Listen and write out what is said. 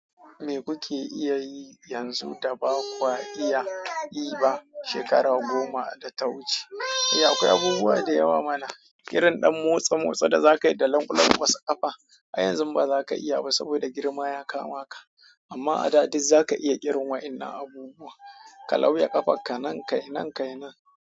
Me kuke iya yi yanzu da ba kwa iya yi ba shekaru goma da ta wuce? Eh akwai abubuwa da yawa mana, irin ɗan motsa-motsa da zaka yi da lan-lan kwasa ƙafa, ai yanzu ba za ka iya ba saboda girma ya kama ka, amma a da duk za ka iya irin wayannan abubuwa, ka lauya ƙafarka nan ka yi, nan ka yi nan.